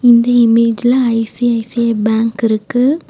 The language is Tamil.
இந்த இமேஜ்ல ஐ_சி_ஐ_சி_ஐ பேங்க் இருக்கு.